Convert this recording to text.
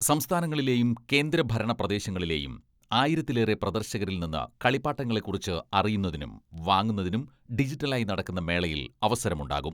സംസ്ഥാനങ്ങളിലേയും കേന്ദ്രഭരണ പ്രദേശങ്ങളിലേയും ആയിരത്തിലേറെ പ്രദർശകരിൽ നിന്ന് കളിപ്പാട്ടങ്ങളെ കുറിച്ച് അറിയുന്നതിനും വാങ്ങുന്നതിനും ഡിജിറ്റലായി നടക്കുന്ന മേളയിൽ അവസരം ഉണ്ടാകും.